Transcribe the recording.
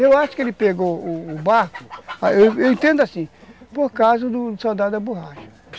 Eu acho que ele pegou o o barco, eu entendo assim, por causa do soldado da borracha.